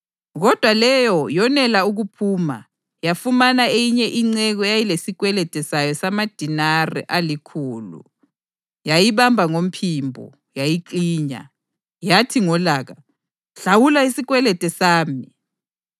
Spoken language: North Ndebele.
Kodwa leyo yonela ukuphuma, yafumana eyinye inceku eyayilesikwelede sayo samadenari alikhulu. Yayibamba ngomphimbo, yayiklinya, yathi ngolaka, ‘Hlawula isikwelede sami!’